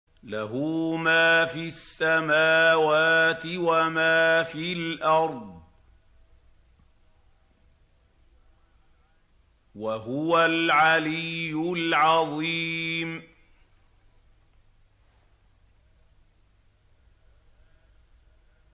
لَهُ مَا فِي السَّمَاوَاتِ وَمَا فِي الْأَرْضِ ۖ وَهُوَ الْعَلِيُّ الْعَظِيمُ